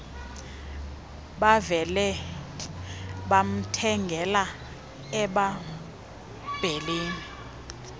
bavele bamthengela emabheleni